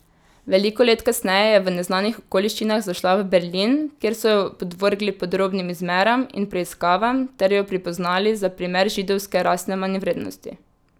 Veliko let kasneje je v neznanih okoliščinah zašla v Berlin, kjer so jo podvrgli podrobnim izmeram in preiskavam ter jo pripoznali za primer židovske rasne manjvrednosti.